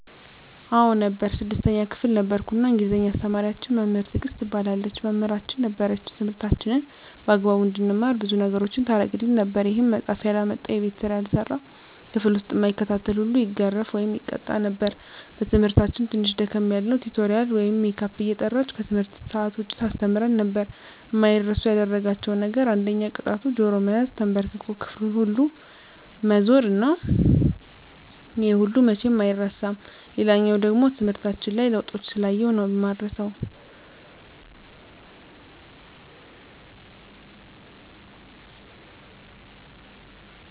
አዎ ነበር 6ተኛ ክፍል ነበርኩ እና እንግሊዝ አስተማሪያችን መምህር ትግስት ትባላለች መምህራችን ነበረች ትምህርታችንን በአግባቡ እንድንማር ብዙ ነገሮችን ታረግልን ነበር ይሄም መፃሐፍ ያላመጣ፣ የቤት ስራ ያልሰራ፣ ክፍል ዉስጥ እማይከታተል ሁሉ ይገረፍ( ይቀጣ ) ነበር እና በትምህርታችን ትንሽ ደከም ያልነዉን ቲቶሪያል ወይም ሜካፕ እየጠራች ከትምህርት ሰአት ዉጭ ታስተምረን ነበር። አማይረሱ ያደረጋቸዉ ነገር አንደኛ ቅጣቱ ጆሮ መያዝ፣ ተንበርክኮ ክፍሉን ሁሉ መዞር እና ይሄ ነገር መቼም አይረሳም። ሌላኛዉ ደሞ ትምህርታችን ላይ ለዉጦችን ስላየሁ ነዉ እማረሳዉ።